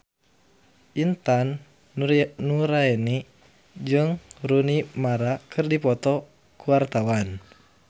Intan Nuraini jeung Rooney Mara keur dipoto ku wartawan